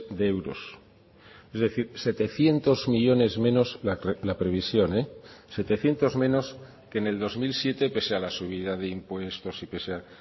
de euros es decir setecientos millónes menos la previsión setecientos menos que en el dos mil siete pese a la subida de impuestos y que sea